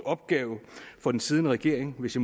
opgave for den siddende regering hvis